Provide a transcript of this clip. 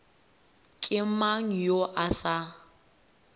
ke mang yo a sa